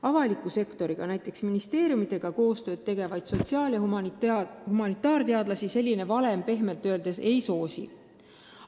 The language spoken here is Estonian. Avaliku sektoriga, näiteks ministeeriumidega koostööd tegevaid sotsiaal- ja humanitaarteadlasi selline valem pehmelt öeldes ei soosi.